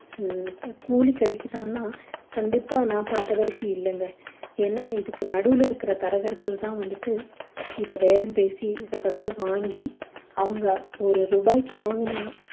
ஹம் இப்ப கூலி கிடைக்குதான்னா கண்டிப்பா நான் பார்த்த வரைக்கும் இல்லைங்க ஏன்னா இதுக்கு நடுவில் இருக்கிற தரகர்கள் தான் வந்துட்டு இதை பேரம் பேசி இதை வந்து வாங்கி அவங்க ஒரு ரூபாய்க்கு வாங்கினா